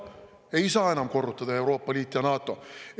Ei saa enam korrutada: Euroopa Liit ja NATO!